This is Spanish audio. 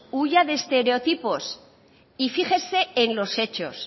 huya de estereotipos y fíjese en los hechos